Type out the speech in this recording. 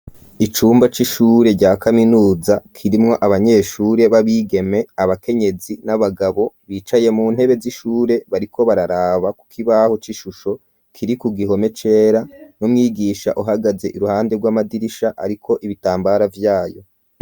Icumba c'ishure rya kaminuza kirimwo abanyeshure b'abigeme abakenyezi n'abagabo bicaye mu ntebe z'ishure bariko bararaba ku ku kibaho c'ishusho kiri ku gihome cera n'umwigisha uhagaze iruhande rw'amadirisha ariko ibitambara vyayo.